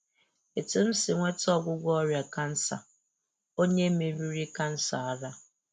Etu m si nweta ọgwụgwọ ọrịa kansa - Onye meriri Kansa ara